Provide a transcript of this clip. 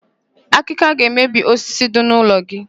Akịka ga-emebi osisi dị n'ụlọ gị.